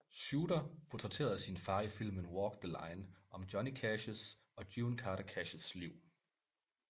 Shooter portrætterede sin far i filmen Walk the Line om Johnny Cashs og June Carter Cashs liv